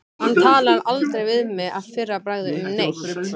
Hann talar aldrei við mig að fyrra bragði um neitt.